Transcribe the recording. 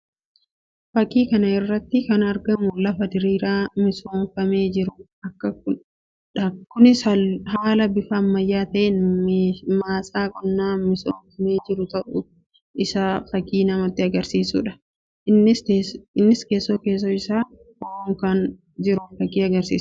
Fakkii kana irratti kan argamu lafa diriiraa misoomfamee jiruu dha. Kunis haala bifa ammayyaa ta'een maasaa qonnaa misoomfamee jiru ta'uu isaa fakkii namatti agarsiisuu dha. Innis keessoo keessoo isaa bo'oon akka jiru fakkii agarsiisuu dha.